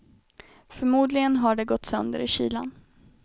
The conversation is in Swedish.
Förmodligen har de gått sönder i kylan.